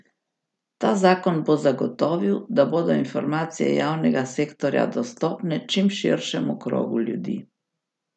Ta zakon bo zagotovil, da bodo informacije javnega sektorja dostopne čim širšemu krogu ljudi.